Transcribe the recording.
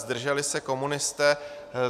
Zdrželi se komunisté.